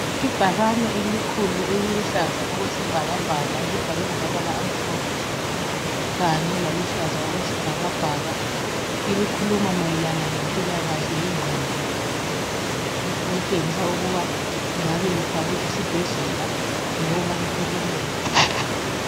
Ibhakane elikhulu eliluhlaza okwesibhakabhaka elibhalwe ngamabala amhlophe kanye laluhlaza okwesibhakabhaka elikhuluma mayelana ngempila kahle yengqondo elitshengisa ukuba lingabe lifakwe esibhedlela loba e clinika